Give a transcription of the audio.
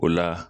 O la